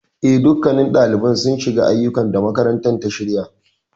Eh, dukkannin ɗaliban sun shiga aiyukan da makarantar ta shirya.